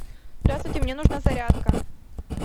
здравствуйте мне нужна зарядка